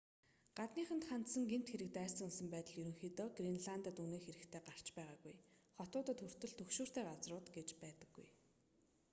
гадныханд хандсан гэмт хэрэг дайсагнасан байдал ерөнхийдөө гренландад үнэн хэрэгтээ гарч байгаагүй хотуудад хүртэл түгшүүртэй газрууд гэж байдаггүй